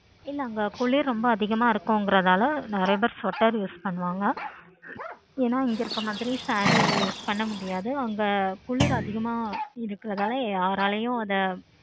அங்க குளிர் ரொம்ப அதிகமா இருக்குகிறனாள நெறையா பேரு sweateruse பண்ணுவாங்க. ஏன இங்க இருக்குற மாதிரி sareeuse பண்ண முடியாது. குளிர் அதிகமா இருக்குறதுனால யாராலயும் அத